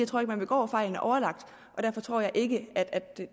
tror at man begår fejlene overlagt og derfor tror jeg ikke at